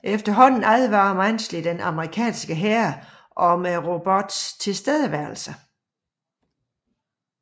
Efterhånden advarer Mansley den amerikanske hær om robottens tilstedeværelse